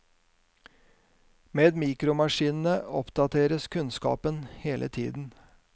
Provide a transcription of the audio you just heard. Med mikromaskinene oppdateres kunnskapen hele tiden.